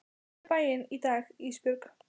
Ég fór í bæinn í dag Ísbjörg.